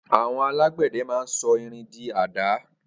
Awọn àlágbẹdẹ mà n sọ ìrín di àdàá